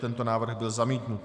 Tento návrh byl zamítnut.